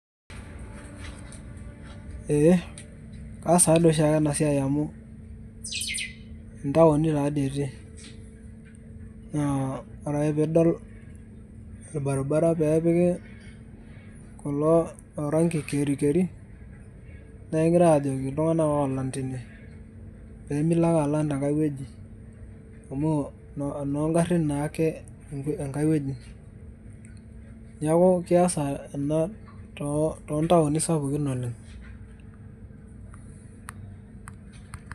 ee kaas taa dii oshi ake ena siai amu, intaoni taadii etii, naa ore ake pee idol orbaribara pee epiki, kulo aranki kerikeri, naa kegirae aajoki iltunganak oolang' tine pee milo ake alang' tenkae wueji, amu enoo garin naake enkae wueji, neeku keesa ina too ntaoni sapukin oleng.